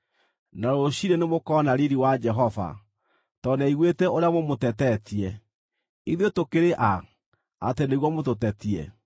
na rũciinĩ nĩmũkona riiri wa Jehova, tondũ nĩaiguĩte ũrĩa mũmũtetetie. Ithuĩ tũkĩrĩ a, atĩ nĩguo mũtũtetie?”